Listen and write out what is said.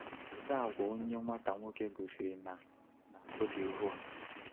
“Kedu àgwà onye nwata nwoke gosiri na na Côte d’Ivoire?”